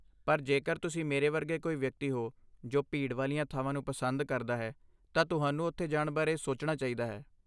ਪਰ, ਜੇਕਰ ਤੁਸੀਂ ਮੇਰੇ ਵਰਗੇ ਕੋਈ ਵਿਅਕਤੀ ਹੋ ਜੋ ਭੀੜ ਵਾਲੀਆਂ ਥਾਵਾਂ ਨੂੰ ਪਸੰਦ ਕਰਦਾ ਹੈ, ਤਾਂ ਤੁਹਾਨੂੰ ਉੱਥੇ ਜਾਣ ਬਾਰੇ ਸੋਚਣਾ ਚਾਹੀਦਾ ਹੈ।